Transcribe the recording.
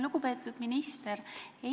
Lugupeetud minister!